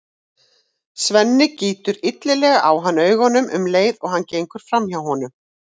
Svenni gýtur illilega á hann augunum um leið og hann gengur fram hjá honum.